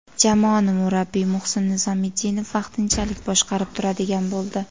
Jamoani murabbiy Muhsin Nizomiddinov vaqtinchalik boshqarib turadigan bo‘ldi.